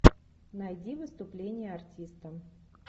найди выступление артиста